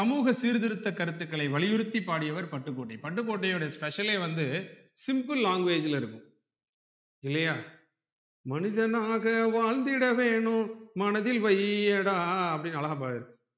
சமூக சீர்திருத்த கருத்துகளை வளியுறுத்தி பாடியவர் பட்டுக்கோட்டை பட்டுக்கோட்டையுடைய special ளே வந்து simple language ல இருக்கும் இல்லையா மனிதனாக வாழ்ந்திட வேணும் மனதில் வையடா அப்டின்னு அழகா பாடிருப்பாரு